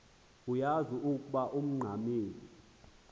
uyaz ukoba ungxamel